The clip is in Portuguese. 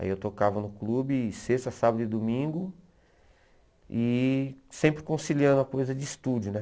Aí eu tocava no clube, sexta, sábado e domingo, e sempre conciliando a coisa de estúdio, né?